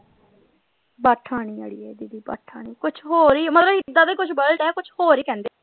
ਬਾਠਾ ਨਹੀਂ ਅੜੀਏ ਕੁੱਛ ਹੋਰ ਈ ਮਤਲਬ ਏਦਾਂ ਦਾ ਹੀ ਕੁਜ ਵਰਡ ਆ ਕੁੱਛ ਹੋਰ ਹੀ ਕਹਿੰਦੇ।